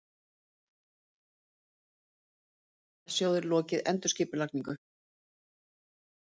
Nú hafa tveir sparisjóðir lokið endurskipulagningu